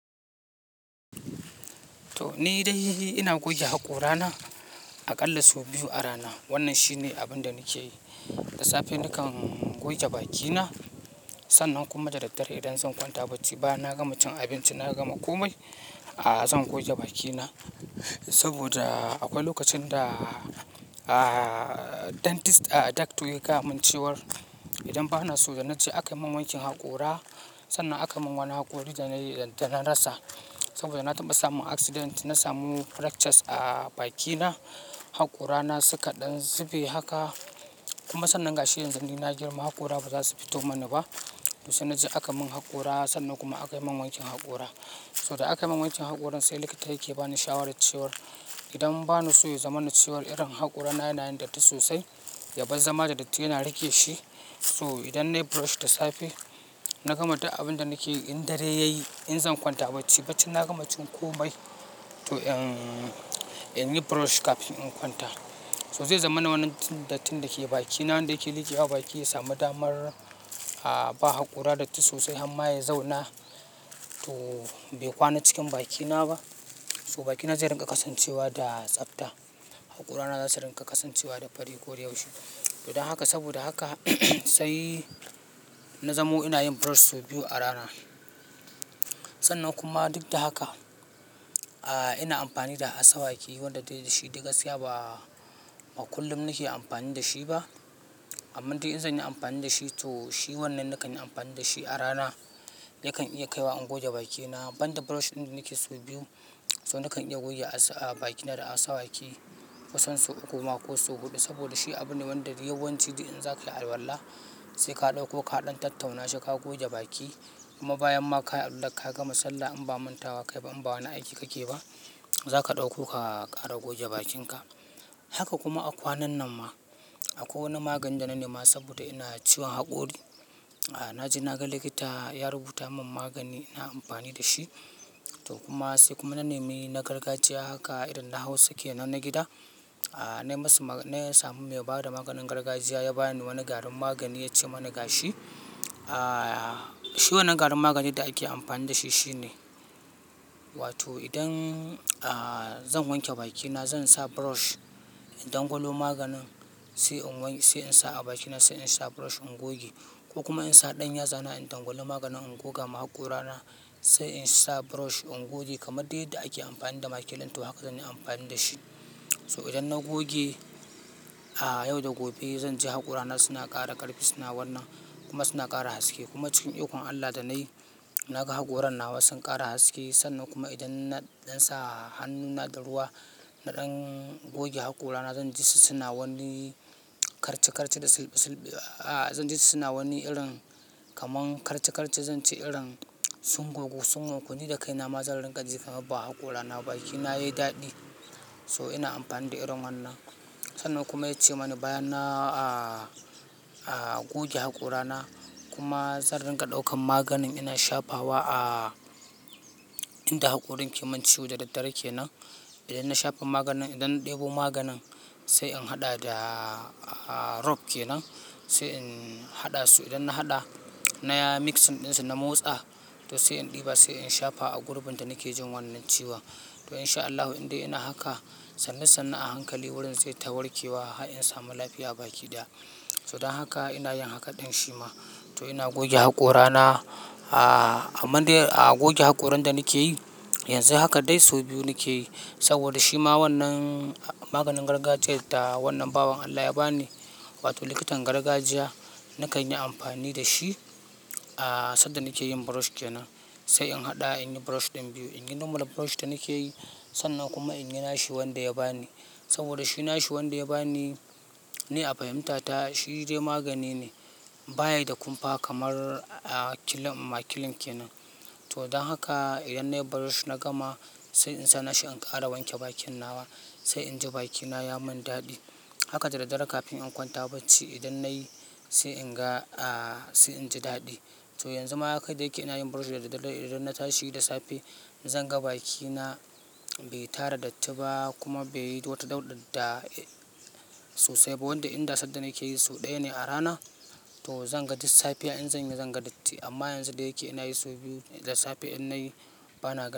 To ni dai ina goge haƙorana aƙalla sau biyu a rana. Wannan shine abin da nake yi. Da safe nakan goge bakina sannan kuma da daddare idan zan kwanta bacci, bayanan gama cin abinci, na gama komai, a zan goge bakina. Saboda akwai lokacin da dentist, a doctor ya gaya min cewar idan bana so na ji aka yi min wankin haƙora, sannan aka yi min wani haƙori da na rasa. Saboda na taɓa samun accident, na samu fractures a bakina. Haƙorana suka ɗan zube haka. Kuma sannan ga shi yanzu gashi ni na girma haƙora ba za su fito mana ba. To sai na je aka mun haƙora sannan kuma aka mun aka yi min wankin haƙora. So da aka yi min wankin haƙorin sai likita yake bani shawarar cewar idan bana so ya zama na cewa irin haƙorana yana yin datti sosai, ya bar zama da datti yana rike shi. So idan nayi brush da safe, na gama ta abin da nake yi in dare yayi, in zan kwanta bacci, bacci na gama cin komai to in yi brush kafin in kwanta. So zai zama na wannan datti dake bakina inda yake liƙe wa baki ya sami damar a ba haƙora datti sosai har ma ya zauna. To bai kwana cikin bakina ba. So bakina zai riƙa kasancewa da tsafta. Haƙorana za su riƙa kasancewa da fari ko da yaushe. To dan haka saboda haka sai na zamo ina yin brush sau biyu a rana. Sannan kuma duk da haka, a ina amfani da asa waki wanda dai da shi da gaskiya ba kullum nake amfani da shi ba. Amma dai in zan yi amfani da shi to shi wannan nakan yi amfani da shi a rana. Yakan iya kaiwa in goge bakina. Ban da brush ɗin nake so biyu, to nakan iya goge a baki na da asa waki kusan sau uku ma ko sau huɗu. Saboda shi abune wanda yawanci dai in zaka yi alwala, sai ka ɗauko ka ɗan tattauna shi ka goge baki. Kuma bayan ma ka yi alwala ka gama sallah in ba manta wa kai ba in ba wani aiki kake ba, za ka ɗauko ka kara goge bakinka. Haka kuma a kwanan nan ma, akwai wani magani da na nema saboda ina ciwon haƙori. Na je na ga likita ya rubuta min magani, ina amfani da shi. To kuma sai kuma na nemi na gargajiya haka idan na hausa kenan na gida, na yi masa, na samu mai bada maganin gargajiya ya bani wani garin magani ya ce mana gashi. A shi wannan garin maganin da ake amfani da shi shine, wato idan a zan wanke bakina zan sa brush, in dangalo maganin sai in wanke, sai in sa a bakina, sai in sa brush in goge. Ko kuma in sa ɗan yatsana in dangalo maganin in goga ma haƙorana sai in sa brush in goge kamar dai yadda ake amfani da makilin. To haka zan yi amfani da shi. So idan na goge, a yau da gobe zan ji haƙorana suna ƙara ƙarfi, suna wanna kuma suna ƙara haske. Kuma cikin ikon Allah da na yi, na ga haƙoran nawa sun ƙara haske. Sannan kuma idan na, ɗan sa hannuna da ruwa na ɗan goge haƙorana zan ji su suna wani karche karche da sulɓi sulɓi, a zan ji su suna wani irin kaman karche karche zan ci irin sun gogu sungun. Ko ni da kaina ma zan riƙa ji kamar ba haƙorana baki na yayi daɗi. So ina amfani da irin wannan. Sannan kuma ya ce mani bayan na a goge haƙorana kuma zan riƙa ɗaukan maganin ina shafa wa a inda haƙorin ke min ciwo da daddare kenan. Idan na shafa maganin idan ɗebo maganin sai in haɗa da rob kenan, sai in haɗa su. Idan na haɗa, na yi mix ɗinsa na motsa to sai in ɗiba sai in shafa a gurbin da nake jin wannan ciwon. To in sha Allahu indai ina haka, sannu sannu a hankali wurin zai tawarke wa har in samu lafiya bakina. So dan haka ina yin haka ɗan shi ma. To ina goge haƙorana a amma dai a goge haƙorin da nake yi, yanzu haka dai sau biyu nake yi. Saboda shi ma wannan maganin gargajiyar da wannan bawan Allah ya bani, wato likitan gargajiya nakan yi amfani da shi a sanda nake yin brush kenan. Sai in haɗa in yi brush ɗin biyu. In yi normal brush da nake yi sannan kuma in yi nashi wanda ya bani. Saboda shi nashi wanda ya bani ni a fahimta ta shi dai magani ne baya da kumfa kamar a kilin, makilin kenan. To dan haka idan nayi brush na gama sai in sa nashi in ƙara wanke bakin nawa sai inji bakina ya mun daɗi. Haka da daddare kafin in kwanta bacci idan nayi sai in ga a sai inji daɗi. To yanzu ma haka dai yake ina yin brush da daddare idan na tashi da safe zan ga bakina bai tara datti ba kuma bai yi wata dauɗadar da sosai ba. Wanda inda sanda nake yi sau ɗaya ne a rana to zan ga duk safiya in zan yi zan ga datti. Amma yanzu dai yake ina yi sau biyu da safe in nayi bana ga.